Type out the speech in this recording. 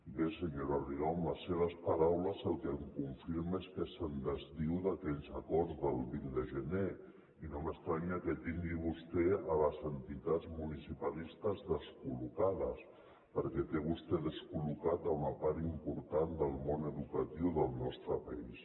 bé senyora rigau amb les seves paraules el que em confirma és que es desdiu d’aquells acords del vint de gener i no m’estranya que tingui vostè les entitats municipalistes descol·locades perquè té vostè descoluna part important del món educatiu del nostre país